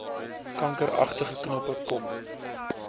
kankeragtige knoppe kom